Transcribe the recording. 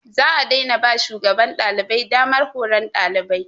Za a daina ba shugaban ɗalibai damar horon ɗalibai.